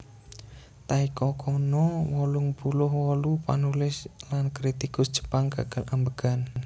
Taeko Kono wolung puluh wolu panulis lan kritikus Jepang gagal ambegan